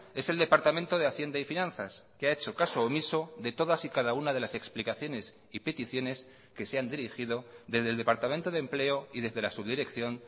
es el departamento de hacienda y finanzas que ha hecho caso omiso de todas y cada una de las explicaciones y peticiones que se han dirigido desde el departamento de empleo y desde la subdirección